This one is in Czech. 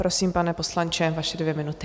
Prosím, pane poslanče, vaše dvě minuty.